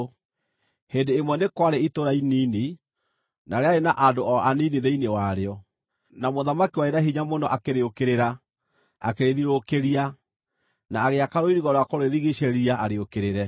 Hĩndĩ ĩmwe nĩ kwarĩ itũũra inini, na rĩarĩ na andũ o anini thĩinĩ warĩo. Na mũthamaki warĩ na hinya mũno akĩrĩũkĩrĩra, akĩrĩthiũrũrũkĩria, na agĩaka rũirigo rwa kũrĩrigiicĩria, arĩũkĩrĩre.